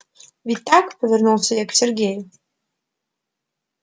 ведь так повернулась я к сергею